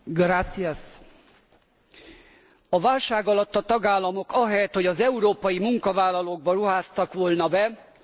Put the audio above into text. A válság alatt a tagállamok ahelyett, hogy az európai munkavállalókba ruháztak volna be, a pénzügyi szférát segítették ki.